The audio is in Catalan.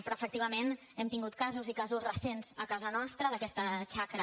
però efectivament hem tingut casos i casos recents a casa nostra d’aquesta xacra